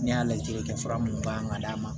Ne y'a lajɛ fura mun kan ka d'a ma